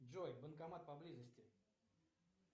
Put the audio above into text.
джой банкомат поблизости